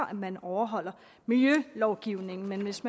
at man overholder miljølovgivningen men hvis